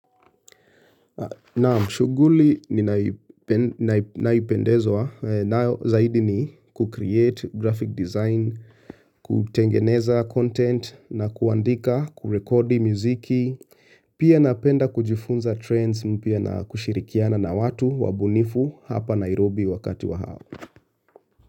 Nam shughuli ninayoipendezwa nayo zaidi ni kucreate graphic design, kutengeneza content na kuandika kurekodi muziki. Pia napenda kujifunza trends mpya na kushirikiana na watu wabunifu hapa Nairobi wakati wa hao.